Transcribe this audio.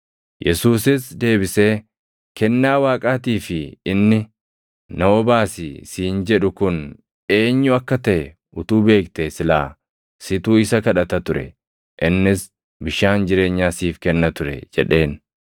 Yesuusis deebisee, “Kennaa Waaqaatii fi inni, ‘na obaasi’ siin jedhu kun eenyu akka taʼe utuu beektee silaa situ isa kadhata ture; innis bishaan jireenyaa siif kenna ture” jedheen.